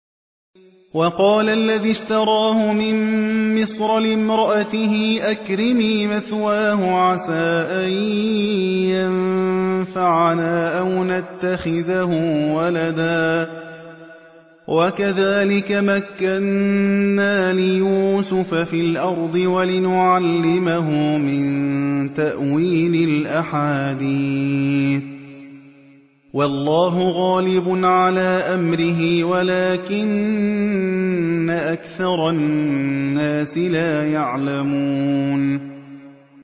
وَقَالَ الَّذِي اشْتَرَاهُ مِن مِّصْرَ لِامْرَأَتِهِ أَكْرِمِي مَثْوَاهُ عَسَىٰ أَن يَنفَعَنَا أَوْ نَتَّخِذَهُ وَلَدًا ۚ وَكَذَٰلِكَ مَكَّنَّا لِيُوسُفَ فِي الْأَرْضِ وَلِنُعَلِّمَهُ مِن تَأْوِيلِ الْأَحَادِيثِ ۚ وَاللَّهُ غَالِبٌ عَلَىٰ أَمْرِهِ وَلَٰكِنَّ أَكْثَرَ النَّاسِ لَا يَعْلَمُونَ